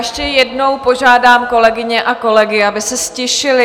Ještě jednou požádám kolegyně a kolegy, aby se ztišili.